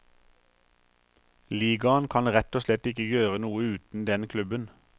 Ligaen kan rett og slett ikke gjøre noe uten den klubben.